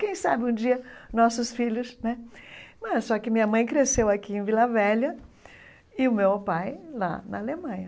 Quem sabe um dia nossos filhos né... É Só que minha mãe cresceu aqui em Vila Velha e o meu pai lá na Alemanha.